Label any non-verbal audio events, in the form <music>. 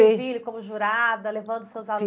<unintelligible> como jurada, levando seus <unintelligible>